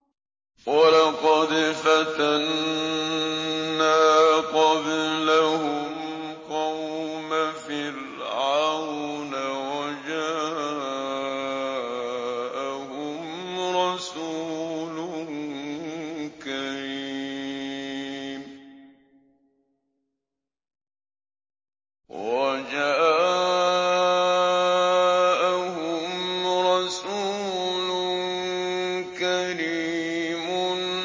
۞ وَلَقَدْ فَتَنَّا قَبْلَهُمْ قَوْمَ فِرْعَوْنَ وَجَاءَهُمْ رَسُولٌ كَرِيمٌ